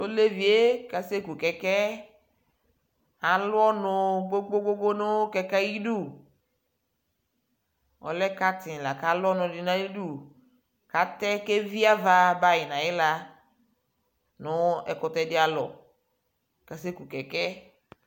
tʋ ɔlɛviɛ asɛ kʋ kɛkɛ alʋ ɔnʋ gbɔgbɔ nʋ kɛkɛɛ ayidʋ, ɔlɛ carton lakʋ alʋ ɔnʋ dinʋ ayidʋ kʋ atɛ kʋ ɛvi aɣa bayi nʋ ayila nʋ ɛkʋtɛ di alɔ kʋ asɛkʋ kɛkɛ